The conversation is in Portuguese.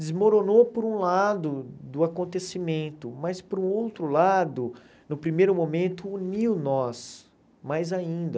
Desmoronou por um lado do acontecimento, mas por outro lado, no primeiro momento, uniu nós mais ainda.